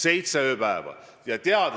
Seitse ööpäeva!